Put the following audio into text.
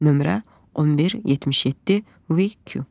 Nömrə 1177-WQ.